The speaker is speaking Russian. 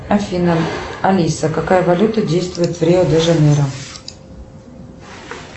афина алиса какая валюта действует в рио де жанейро